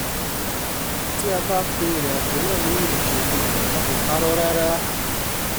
tí a bá pe ìrìnàjò náà ní ìrìnkèrindò a kò parọ́ rárá!